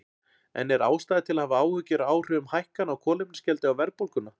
En er ástæða til að hafa áhyggjur af áhrifum hækkana á kolefnisgjaldi á verðbólguna?